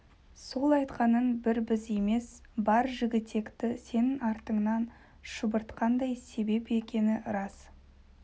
сол айтқаның бір біз емес бар жігітекті сенің артыңнан шұбыртқандай себеп екені рас